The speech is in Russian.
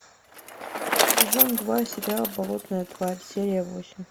сезон два сериал болотная тварь серия восемь